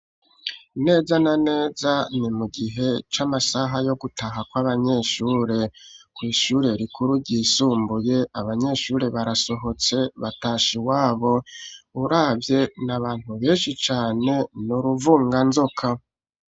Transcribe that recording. Neza na neza ni mu gihe c'amasaha yo gutaha kw'abanyeshure kw'ishure rikuru ryisumbuye abanyeshure barasohotse batasha i wabo urabye ni abantu benshi cane niuruvunga nzoka.